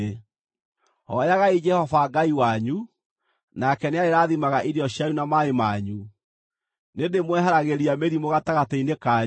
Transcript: Hooyagai Jehova Ngai wanyu nake, nĩarĩrathimaga irio cianyu na maaĩ manyu. Nĩndĩĩmweheragĩria mĩrimũ gatagatĩ-inĩ kanyu,